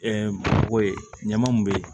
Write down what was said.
ko ye ɲama mun be